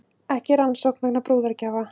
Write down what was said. Ekki rannsókn vegna brúðargjafa